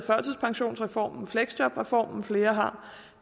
fleksjobreformen flere har